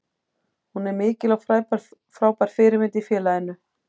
Hún er mikil og frábær fyrirmynd í félaginu.